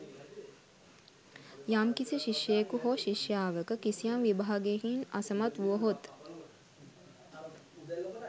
යම්කිසි ශිෂ්‍යයකු හෝ ශිෂ්‍යාවක කිසියම් විභාගයකින් අසමත් වුවහොත්